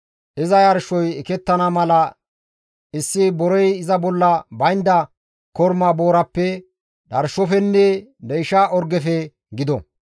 iza yarshoy ekettana mala issi borey iza bolla baynda korma boorappe, dharshofenne deysha orgefe gido.